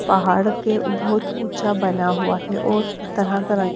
पहाड़ के बहोत ऊंचा बना हुआ है और तरह तरह--